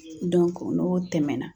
n'o tɛmɛna